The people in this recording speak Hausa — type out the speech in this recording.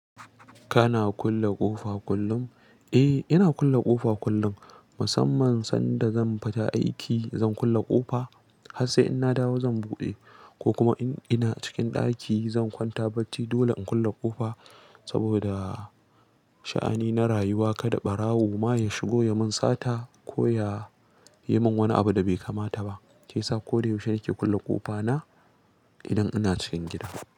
Kana kulle ƙofa kullum? Eh, ina kulle ƙofa kullum musamman sanda zan fita aiki zan kulle ƙofa har sai in na dawo zan buɗe ko kuma in ina cikin ɗaki zan kwanta bacci dole in kulle ƙofa saboda sha'ani na rayuwa kada ɓarawo ma ya shigo ya mun sata ko ya yi mun wani abu da bai kamata ba. Shi sa ko da yaushe nake kulle ƙofa na idan ina cikin gida.